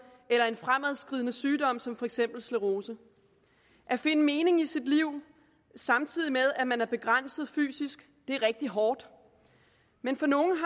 eller en fremadskridende sygdom som for eksempel sklerose at finde mening i sit liv samtidig med at man er begrænset fysisk er rigtig hårdt men for nogle